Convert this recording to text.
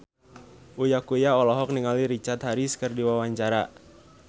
Uya Kuya olohok ningali Richard Harris keur diwawancara